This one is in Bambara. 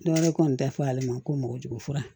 Dɔwɛrɛ kɔni tɛ fɔ ale ma ko mɔgɔjugu fura